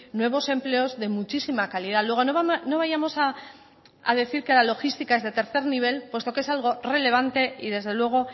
nuevos empleos de muchísima calidad luego no vayamos a decir que la logística es de tercer nivel puesto que es algo relevante y desde luego